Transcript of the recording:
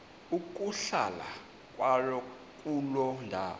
ukuhlala kwakuloo ndawo